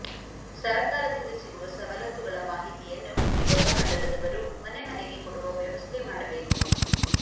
ಸರಕಾರದಿಂದ ಸಿಗುವ ಸವಲತ್ತುಗಳ ಮಾಹಿತಿಯನ್ನು ಯುವಕ ಮಂಡಲದವರು ಮನೆಮನೆಗೆ ಕೊಡುವ ವ್ಯವಸ್ಥೆ ಮಾಡಬೇಕು